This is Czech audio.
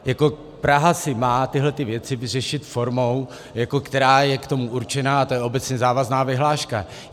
Praha si má tyto věci vyřešit formou, která je k tomu určená, a to je obecně závazná vyhláška.